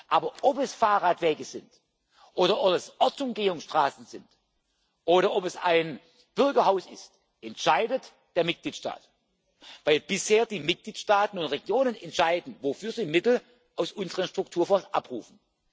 Aber ob es Fahrradwege sind oder ob es Ortsumgehungsstraßen sind oder ob es ein Bürgerhaus ist, entscheidet der Mitgliedstaat, weil bisher die Mitgliedstaaten oder Regionen entscheiden, wofür sie Mittel aus unseren Strukturfonds